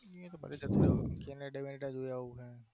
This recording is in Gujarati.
ના પછી તો કોઈ નહિ બસ કેનેડા જઈ આવું